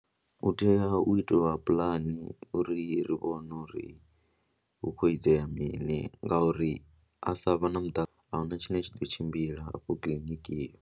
U tea u itelwa puḽani uri ri vhone uri hu khou itea mini ngauri a sa vha na muṱa a hu na tshine tsha tou tshimbila afho kiḽiniki iyo.